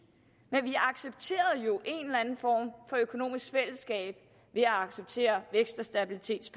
men vi accepterede jo en eller en form for økonomisk fællesskab ved at acceptere stabilitets